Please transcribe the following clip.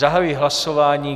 Zahajuji hlasování.